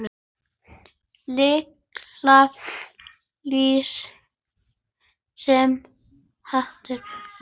Lilla lús sem étur mús.